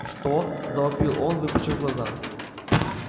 что завопил он выпучив глаза